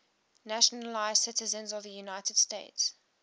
naturalized citizens of the united states